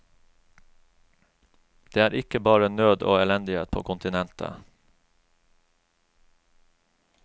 Det er ikke bare nød og elendighet på kontinentet.